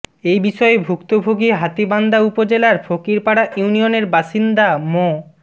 এ বিষয়ে ভুক্তভোগী হাতীবান্ধা উপজেলার ফকিরপাড়া ইউনিয়নের বাসিন্দা মো